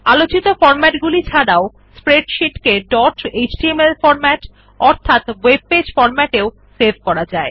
আলোচিত বিন্যাসগুলি ছাড়াও স্প্রেডশীট ডট এচটিএমএল ফরম্যাট অর্থাৎ ওএব পেজ ফরম্যাট এও সেভ করা যায়